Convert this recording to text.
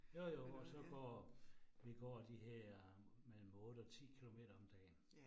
Jo jo, og så går, vi går de her mellem 8 og 10 kilometer om dagen